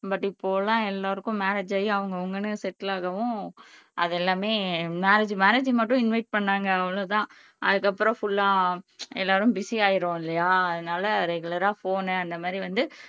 but இப்போலாம் எல்லாருக்கும் marriage ஆகி அவங்கவங்ன்னு செட்டில் ஆகவும் அது எல்லாமே மேரேஜ் மேரேஜ்ஜுக்கு மட்டும் இன்வைட் பண்ணாங்க அவ்வளவு தான் அதுக்கப்புறம் ஃபுல்லா எல்லாரும் பிஸியாயிருவோம் இல்லையா அதனால ரெகுலரா ஃபோனு அந்த மாதிரி வந்து